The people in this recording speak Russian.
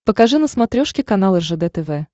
покажи на смотрешке канал ржд тв